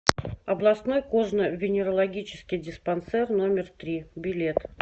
областной кожно венерологический диспансер номер три билет